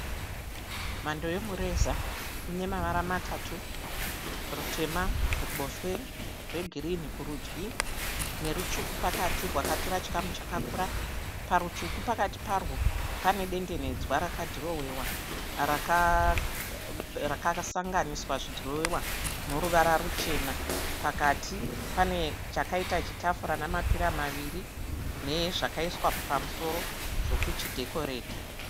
Mhando yomureza unemavara matatu, rutema kuruboshwe, rwegirinhi kurudyi nerutsvuku pakati rwakatora chikamu chakakura. Parutsvuku pakati parwo pane dendenedzwa rakadhirowewa rakasanganiswa zvidhirowewa noruvara ruchena. Pakati pane chakaita chitafura namapira maviri nezvakaiswa pamusoro zvekuchidhekoreta.